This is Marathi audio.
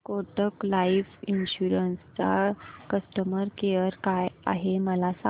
कोटक लाईफ इन्शुरंस चा कस्टमर केअर काय आहे मला सांगा